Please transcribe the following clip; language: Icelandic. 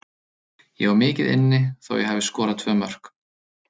Ég á mikið inni þó ég hafi skorað tvö mörk.